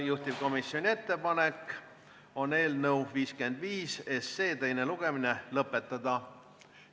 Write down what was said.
Juhtivkomisjoni ettepanek on eelnõu 55 teine lugemine lõpetada.